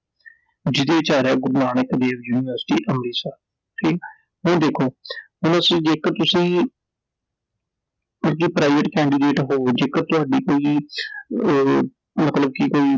ਜੀਹਦੇ ਵਿਚ ਆ ਰਿਹਾ ਗੁਰੂ ਨਾਨਕ ਦੇਵ ਯੂਨੀਵਰਸਿਟੀ, ਅੰਮ੍ਰਿਤਸਰ I ਠੀਕ Iਹੁਣ ਦੇਖੋ, ਹੁਣ ਅਸੀਂ ਜੇਕਰ ਤੁਸੀਂ Private candidate ਹੋ ਜੇਕਰ ਤੁਹਾਡੀ ਕੋਈ ਅਹ ਮਤਲਬ ਕਿ ਕੋਈ